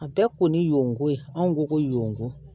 A bɛɛ kun ye yonko ye anw ko ko yon ko